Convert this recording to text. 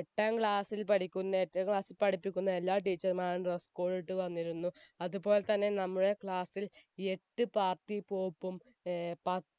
എട്ടാം class ൽ പഠിക്കുന്നെ എട്ടാം class ൽ പഠിപ്പിക്കുന്നെ എല്ലാ teacher മ്മാരും dresscode ഇട്ട് വന്നിരുന്നു അത് പോൽ തന്നെ നമ്മളെ class എട്ട് party pop ഉം ഏർ